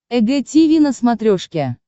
эг тиви на смотрешке